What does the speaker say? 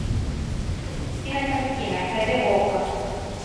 кинокартина хд окко